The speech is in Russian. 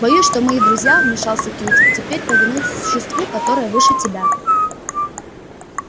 боюсь что мои друзья вмешался кьюти теперь повинуются существу которое выше тебя